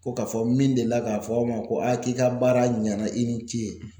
Ko k'a fɔ min deli la k'a fɔ aw ma ko k'i ka baara ɲana i ni ce